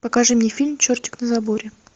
покажи мне фильм чертик на заборе